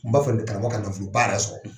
Tun b'a fɛ de karamɔgɔ ka nafoloba yɛrɛ sɔrɔ